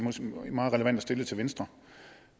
er meget relevant at stille det til venstre